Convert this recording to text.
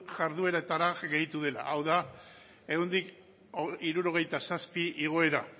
jardueretara gehitu dela hau da ehuneko hirurogeita zazpi igoera